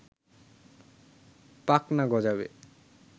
পাখনা গজাবে